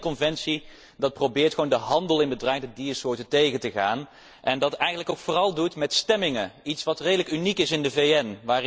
Een VN conventie probeert gewoon de handel in bedreigde diersoorten tegen te gaan en doet dat eigenlijk vooral ook met stemmingen, iets wat redelijk uniek is in de VN.